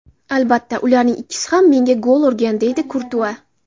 Albatta, ularning ikkisi ham menga gol urgan”, deydi Kurtua.